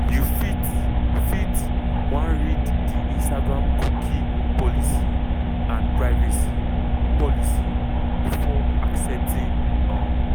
you fit fit wan read di instagramcookie policyandprivacy policybefore accepting. um